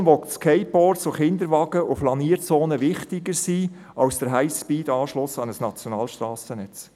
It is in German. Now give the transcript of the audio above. Eine Generation, der Skateboards, Kinderwagen und Flanierzonen wichtiger sind als der Highspeed-Anschluss an ein Nationalstrassennetz.